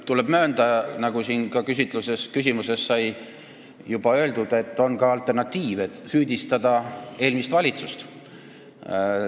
Tuleb möönda, nagu ma oma küsimuses juba ka ütlesin, et teil on võimalus süüdistada eelmist valitsust.